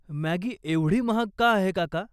Maggi एवढी महाग का आहे, काका?